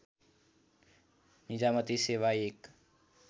निजामती सेवा एक